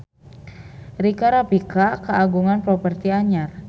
Rika Rafika kagungan properti anyar